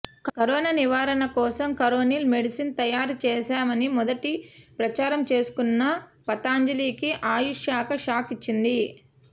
corona నివారణ కోసం Coronil medicine తయారు చేశామని మొదటి ప్రచారం చేసుకున్న పతంజలికి ఆయుష్ శాఖ షాక్ ఇచ్చింది